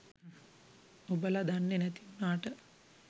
ඔබල දන්නේ නැති උනාට